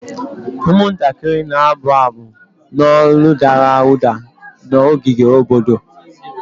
Ụmụntakịrị na-abụ abụ n'olu dara ụda na ogige obodo.